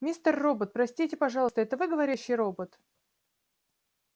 мистер робот простите пожалуйста это вы говорящий робот